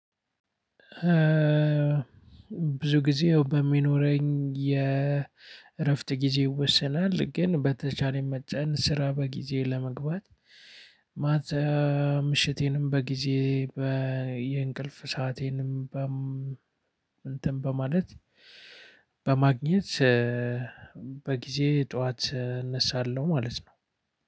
ብዙ ጊዜ በሚኖረኝ የእረፍት ጊዜ ይወሰናል። ግን በተቻለኝ መጠን ስራ በጊዜ ለመግባት ማታ ምሽቴንም በጊዜ የእንቅልፍ ሰአቴንም እንትን በማለት በማግኘት በጊዜ ጠዋት እነሳለሁ ማለት ነው።